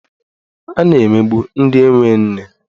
A na-emegbu ndị enwe nne.